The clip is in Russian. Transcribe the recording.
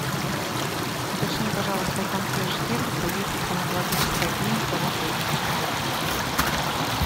уточни пожалуйста у консьерж сервиса есть ли стоматологическая клиника в отеле